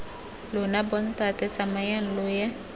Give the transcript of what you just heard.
lona bontate tsamayang lo ye